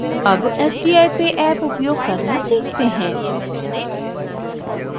अब sbi pay app उपयोग करना सीखते हैं